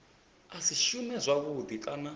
a si shume zwavhudi kana